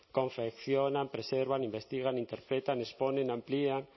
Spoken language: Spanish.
confeccionan preservan investigan interpretan exponen amplían